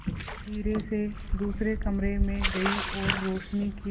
मयूरी धीरे से दूसरे कमरे में गई और रोशनी की